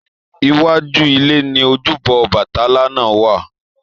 Iwájú ilé ni ojúbọ Obatala náà wà.